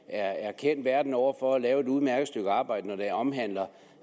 er kendt verden over for at lave et udmærket stykke arbejde når det omhandler